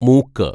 മൂക്ക്